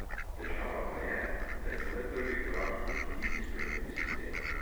Težava pa je, da je to le prvi korak k celoviti spremembi sistema.